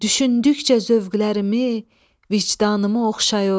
Düşündükcə zövqlərimi, vicdanımı oxşayır.